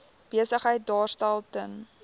besigheid daarstel ten